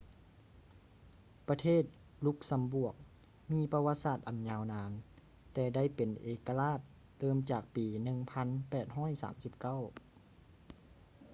ປະເທດ ລຸກຊຳບວກ ມີປະຫວັດສາດອັນຍາວນານ ແຕ່ໄດ້ເປັນເອກະລາດເລີ່ມຈາກປີ 1839